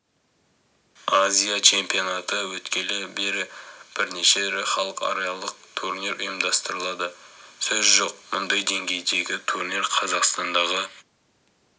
азия чемпионаты өткелі бері бірнеше ірі халықаралық турнир ұйымдастырылды сөз жоқ мұндай деңгейдегі турнир қазақстандағы